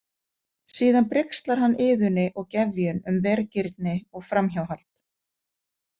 Síðan brigslar hann Iðunni og Gefjun um vergirni og framhjáhald.